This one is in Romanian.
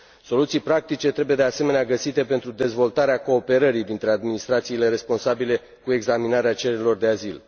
Soluții practice trebuie, de asemenea, găsite pentru dezvoltarea cooperării dintre administrațiile responsabile cu examinarea cererilor de azil.